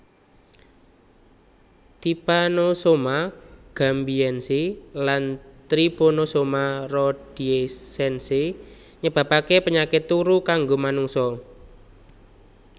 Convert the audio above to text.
Typanosoma Gambiense lan Tryponosoma Rhodesiense nyebabake penyakit turu kanggo manungsa